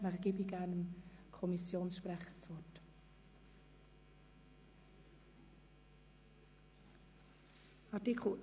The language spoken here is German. Danach erteile ich gerne dem Kommissionspräsidenten das Wort.